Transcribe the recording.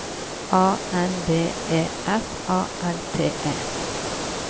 A N B E F A L T E